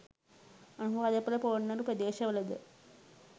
Anuradhapura Polonnaruwa ප්‍රදේශවලද